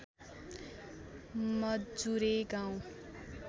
मजुरे गाउँ